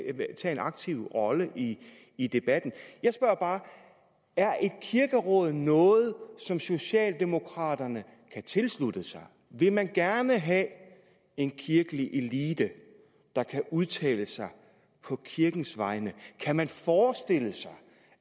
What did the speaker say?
en aktiv rolle i i debatten jeg spørger bare er et kirkeråd noget som socialdemokraterne kan tilslutte sig vil man gerne have en kirkelig elite der kan udtale sig på kirkens vegne kan man forestille sig